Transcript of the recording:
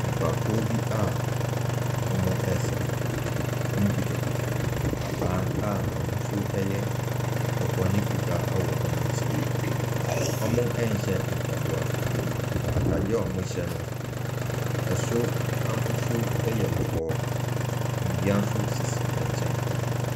Nnipakuo bi a wɔresa. Wɔkutakuta abaa a n'ahosuo yɛ kɔkɔɔ ne fitaa wɔ wɔn nsam. Wɔnhyɛ mpaboa. Na atadeɛ a wɔhyɛ no, soro ahosoɔ yɛ kɔkɔɔ. Nnua nso sisi nkyɛn.